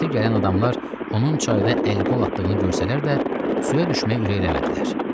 Səsə gələn adamlar onun çayda əl-qol atdığını görsələr də, suya düşməyə ürəklənmədilər.